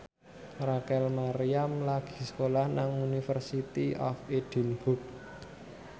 Rachel Maryam lagi sekolah nang University of Edinburgh